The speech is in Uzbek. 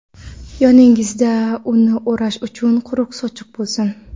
yoningizda uni o‘rash uchun quruq sochiq bo‘lsin.